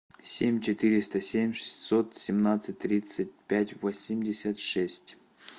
семь четыреста семь шестьсот семнадцать тридцать пять восемьдесят шесть